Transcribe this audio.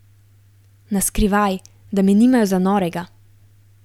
Na skrivaj, da me nimajo za norega.